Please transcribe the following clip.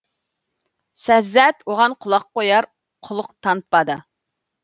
сәззәт оған құлақ қояр құлық танытпады